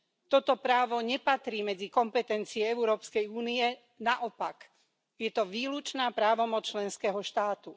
Toto právo nepatrí medzi kompetencie Európskej únie, naopak je to výlučná právomoc členského štátu.